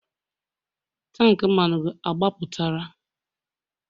tank mmanụ gị agbapụtara?